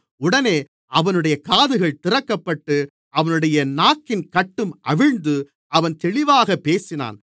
உடனே அவனுடைய காதுகள் திறக்கப்பட்டு அவனுடைய நாக்கின் கட்டும் அவிழ்ந்து அவன் தெளிவாகப் பேசினான்